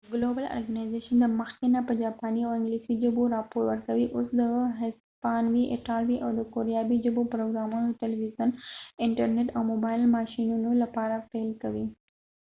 ګلوبل ارګنایزیشن د مخکې نه په جاپانی او انګلیسی ژبو راپور ورکوي اوس د هسپانوي ایټالوي او کوریایې ژبو پروګرامونه د تلويزیون انټر نیټ او موبایل ماشينونو لپاره پیل کوي